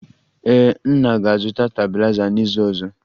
Ee, nna ga-azụta stabiliza n'izu ọzọ